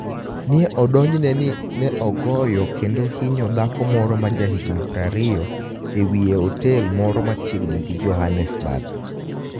ni e odonijni e nii ni e ogoyo kenido hiniyo dhako moro ma jahiginii 20 e wiye e otel moro machiegnii gi JohAnitaesburg.